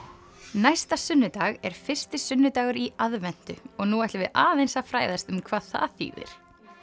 næsta sunnudag er fyrsti sunnudagur í aðventu og nú ætlum við aðeins að fræðast um hvað það þýðir